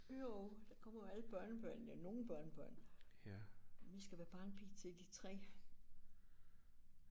Jo der kommer jo alle børnebørnene nogle børnebørn. Vi skal være barnepige til de 3